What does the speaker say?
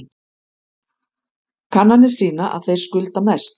Kannanir sýna að þeir skulda mest